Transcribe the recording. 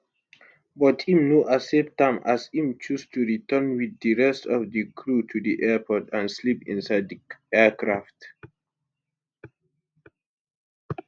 but im no accept am as im choose to return wit di rest of di crew to di airport and sleep inside di aircraft